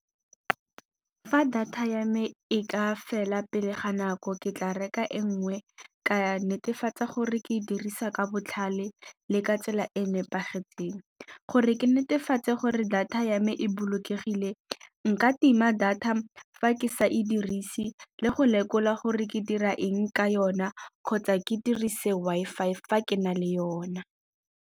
Fa data ya me e ka fela pele ga nako ke tla reka e nngwe ka netefatsa gore ke dirisa ka botlhale le ka tsela e e nepagetseng. Gore ke netefatsa tse gore data ya me e bolokegile nka tima data fa ke sa e dirise le go lekola gore ke dira eng ka yona kgotsa ke dirise Wi-Fi fa ke na le yona.